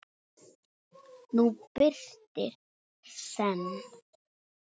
nú birtir senn.